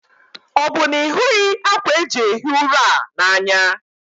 Ọ́ bụ na ịhughị ákwà eji ehi ụra a n'anya?